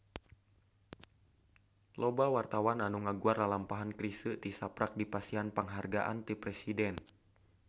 Loba wartawan anu ngaguar lalampahan Chrisye tisaprak dipasihan panghargaan ti Presiden